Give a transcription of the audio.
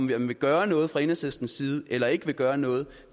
vil gøre noget fra enhedslistens side eller ikke vil gøre noget